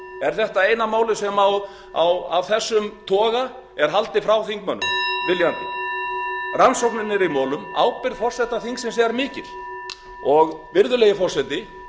er þetta eina málið af þessum toga sem er haldið frá þingmönnum viljandi rannsóknin er í molum ábyrgð forseta þingsins er mikil og virðulegi forseti